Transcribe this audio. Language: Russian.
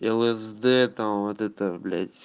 лсд там вот это блять